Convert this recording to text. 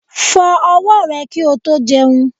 Fó owó rè ki o tó jeun